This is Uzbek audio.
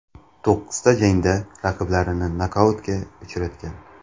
To‘qqizta jangda raqiblarini nokautga uchratgan.